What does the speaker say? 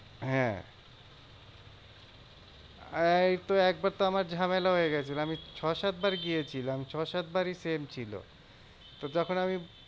হ্যাঁ এইতো একবার তো আমার ঝামেলা হয়ে গেছিলো। আমি ছ সাত বার গিয়েছিলাম ছ সাত বারিই same ছিল। তো তখন আমি,